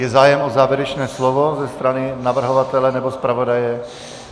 Je zájem o závěrečné slovo ze strany navrhovatele nebo zpravodaje?